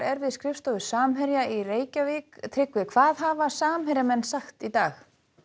er við skrifstofu Samherja í Reykjavík hvað hafa Samherjamenn sagt í dag